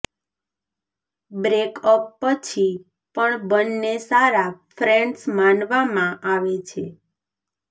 breakup પછી પણ બન્ને સારા ફ્રેન્ડ્સ માનવામાં આવે છે